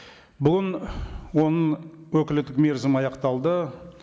бүгін оның өкілеттік мерзімі аяқталды